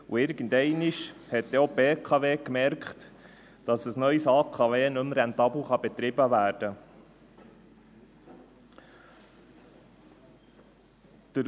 Irgendeinmal stellte auch die BKW fest, dass ein neues AKW nicht mehr rentabel betrieben werden kann.